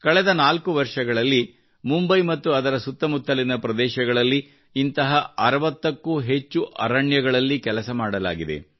ಕಳೆದ ನಾಲ್ಕು ವರ್ಷಗಳಲ್ಲಿ ಮುಂಬೈ ಮತ್ತು ಅದರ ಸುತ್ತಮುತ್ತಲಿನ ಪ್ರದೇಶಗಳಲ್ಲಿ ಇಂತಹ 60 ಕ್ಕೂ ಹೆಚ್ಚು ಅರಣ್ಯಗಳಲ್ಲಿ ಕೆಲಸ ಮಾಡಲಾಗಿದೆ